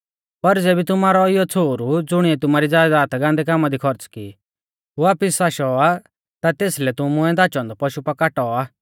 पर ज़ेबी तुमारौ इयौ छ़ोहरु ज़ुणिऐ तुमारी ज़यदाद गान्दै कामा दी खौर्च़ की वापिस आशौ आ ता तेसलै तुमुऐ धाचौ औन्दौ पशु पा कौटाऔ आ